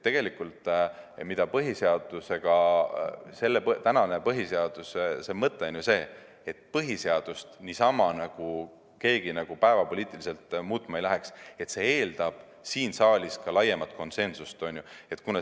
Mõte on ju see, et põhiseadust niisama keegi päevapoliitiliselt muutma ei läheks, vaid see eeldab siin saalis laiemat konsensust.